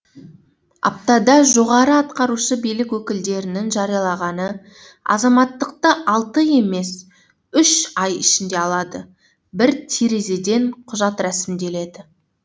аптада жоғары атқарушы билік өкілдерінің жариялағаны азаматтықты алты емес үш ай ішінде алады бір терезеден құжат рәсімделеді